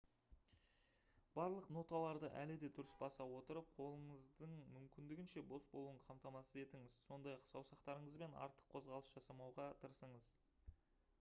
барлық ноталарды әлі де дұрыс баса отырып қолыңыздың мүмкіндігінше бос болуын қамтамасыз етіңіз сондай-ақ саусақтарыңызбен артық қозғалыс жасамауға тырысыңыз